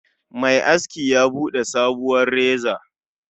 Mai aski ya Bude sabuwar reza